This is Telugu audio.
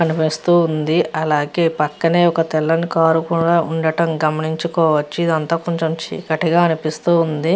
కనిపిస్తూ ఉంది అలాగే పక్కనే ఒక తెల్లని కారు కూడా ఉండటం గమనించుకోవచ్చు ఇదంతా కొంచెం చీకటిగా అనిపిస్తుంది.